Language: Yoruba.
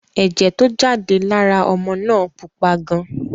Ẹ̀jẹ̀ tó jáde lára ọmọ náà pupa gan.